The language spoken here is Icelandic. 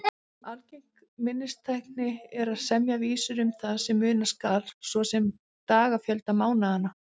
Algeng minnistækni er að semja vísur um það sem muna skal, svo sem dagafjölda mánaðanna.